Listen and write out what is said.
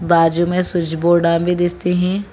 बाजू में switch board भी दिखाते हैं।